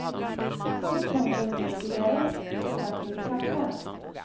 Hon tände en ny cigarrett, drack litet kaffe.